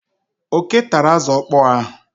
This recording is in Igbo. Oké tara azụ ọkpọọ ahụ.